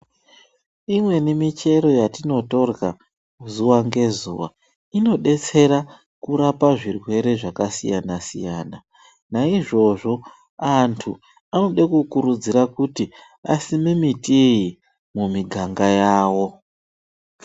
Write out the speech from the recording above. Imweni michero yetinotorya zuva ngezuva inodetsera kurapa zvirwere zvakasiyana-siyana. Naizvozvo antu anode kukurudzirwa kuti asime miti iyi mumiganga yavo.